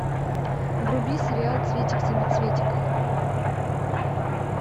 вруби сериал цветик семицветик